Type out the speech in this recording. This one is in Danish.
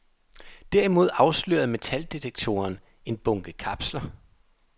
Derimod afslørede metaldetektoren en bunke kapsler.